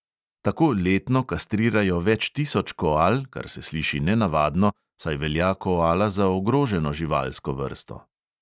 Tako letno kastrirajo več tisoč koal, kar se sliši nenavadno, saj velja koala za ogroženo živalsko vrsto.